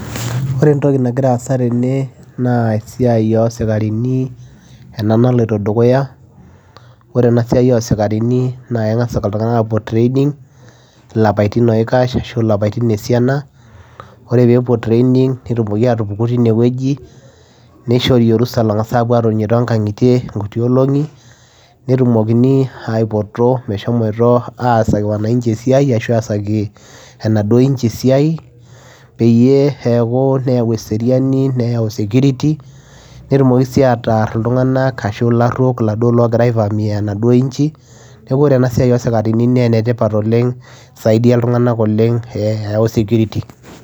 Oree entokii nagiraa aasa tene naa esiai oo sikarini noloito dukuya oree enaa siai naa kengas ilntunganak aapuo training ilapaitin esiana nepukuu tine nishorii orusaa opuoo atonii too nkangitie inkutii olongii peyiee etumokini aaipoto peyiee epuoo asakii wananchii eisia peyiee eeyau security peyiee err ilaruok laagiraa aivamia enaduo inji neeku enetipat enaa siaai